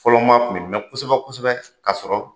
Fɔlɔ maa kun bi mɛ kosɛbɛ kosɛbɛ ka sɔrɔ